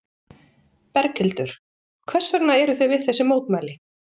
Berghildur: Hvers vegna eruð þið við þessi mótmæli?